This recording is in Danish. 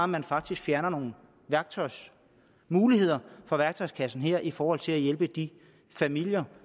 man faktisk fjerner nogle muligheder fra værktøjskassen her i forhold til at hjælpe de familier